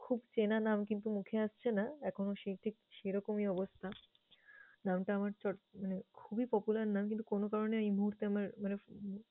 খুব চেনা নাম কিন্তু মুখে আসছে না, এখনো সেই ঠিক সেরকমই অবস্থা। নামটা আমার চট মানে খুবই popular নাম কিন্তু কোন কারণে এই মুহূর্তে আমার মানে